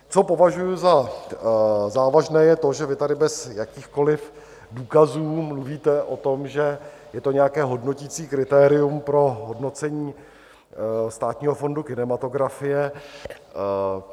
Co považuji za závažné, je to, že vy tady bez jakýchkoliv důkazů mluvíte o tom, že je to nějaké hodnoticí kritérium pro hodnocení Státního fondu kinematografie.